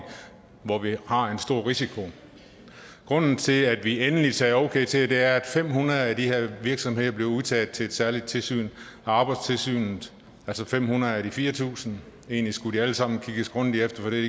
hvor vi har en stor risiko grunden til at vi endelig sagde okay til det er at fem hundrede af de her virksomheder er blevet udtaget til et særligt tilsyn af arbejdstilsynet altså fem hundrede ud af de fire tusind egentlig skulle de alle sammen kigges grundigt efter for det